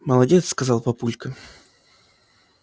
молодец сказал папулька